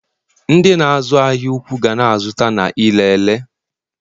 ndị na-azu ahia ụkwụ ga na-azụta na ire ere